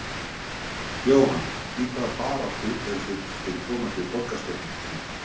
Jóhann: Í hvaða baráttu eruð þið fyrir komandi borgarstjórnarkosningar?